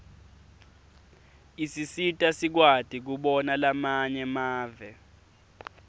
isisita sikwati kubona lamanye mave